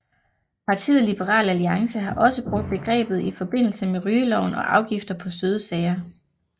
Partiet Liberal Alliance har også brugt begrebet i forbindelse med rygeloven og afgifter på søde sager